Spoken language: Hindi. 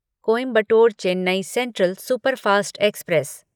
Coimbatore Chennai central superfast express